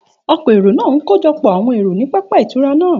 Òkọ̀èrò naa n kojọpọ awọn ero ni pápá itura naa.